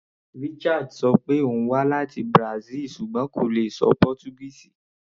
Richard ṣọ pé òun wá láti Brazil ṣùgbọ́n kò lè ṣọ Pọ́túgíìsì.